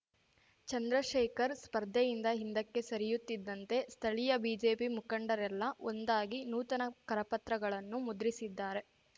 ಚಂದ್ರಶೇಖರ್‌ ಸ್ಪರ್ಧೆಯಿಂದ ಹಿಂದಕ್ಕೆ ಸರಿಯುತ್ತಿದ್ದಂತೆ ಸ್ಥಳೀಯ ಬಿಜೆಪಿ ಮುಖಂಡರೆಲ್ಲ ಒಂದಾಗಿ ನೂತನ ಕರಪತ್ರಗಳನ್ನು ಮುದ್ರಿಸಿದ್ದಾರೆ